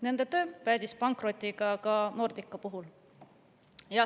Nende töö päädis pankrotiga ka Nordica puhul.